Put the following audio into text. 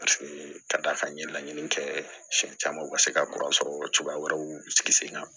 ka d'a kan n ye laɲini kɛ siɲɛ caman ka se ka sɔrɔ cogoya wɛrɛw sigi sen kan